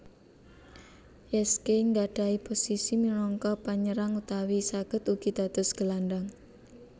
Heskey nggadhahi posisi minangka panyerang utawi saged ugi dados gelandhang